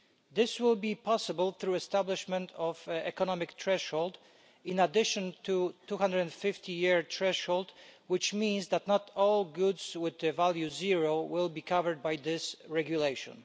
This will be possible through the establishment of an economic threshold in addition to the 250-year threshold, which means that not all goods with zero value will be covered by this regulation.